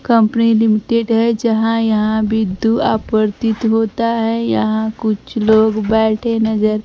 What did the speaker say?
company limited है जहां यहां विद्यु आपूर्तित होता है यहां कुछ लोग बैठे नजर --